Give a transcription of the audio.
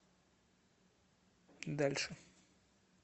дальше